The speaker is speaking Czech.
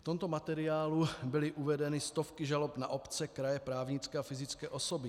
V tomto materiálu byly uvedeny stovky žalob na obce, kraje, právnické a fyzické osoby.